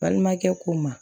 Balimakɛ ko ma